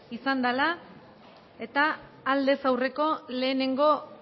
izan dela aldez aurreko lehenengo